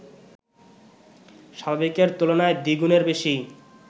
স্বাভাবিকের তুলনায় দ্বিগুণের বেশি